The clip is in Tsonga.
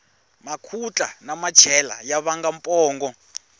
makhutla na machela ya vanga pongo